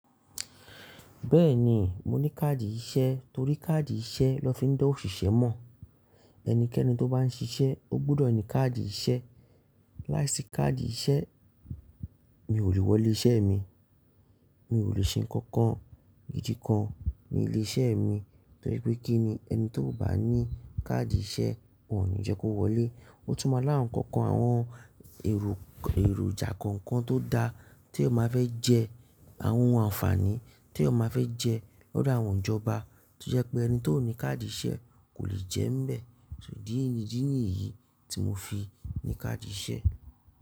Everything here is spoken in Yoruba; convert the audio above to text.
Bẹ́ẹ̀ni, mo ní káàdì ìṣe torí káàdì ìṣe lọ fi ń dá òṣìṣẹ́ mọ̀. Ẹnikẹ́ni tó bá ń ṣiṣẹ́ ó gbọ́dọ̀ ní káàdì ìṣe. Láìsí káàdì ìṣe mi ò lè wọlé iṣẹ́ mi, mi ò lè ṣe nǹkan èyíkan ní ilé-iṣẹ́ mi, torí pé kí ni ẹni tó ò bá ní káàdì ìṣe won ní jẹ́ kó wọlé. Ó tún máa láwon ǹkankan àwọn èròjà kankan tó dá tí ẹ máa fẹ́ jẹ, àwọn àǹfààní tí ẹ máa fẹ́ jẹ lọ́dọ̀ àwọn ìjọba tó jẹ́ pé ẹni tó ò ní káàdì ìṣe kò lè jẹ́ ń bẹ. Ṣo ìdí nìyí tí mo fi ní káàdì ìṣe.